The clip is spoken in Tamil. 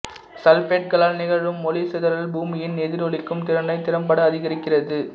சல்பேட்டுகளால் நிகழும் ஒளி சிதறல் பூமியின் எதிரொளிக்கும் திறனை திறம்பட அதிகரிக்கிறது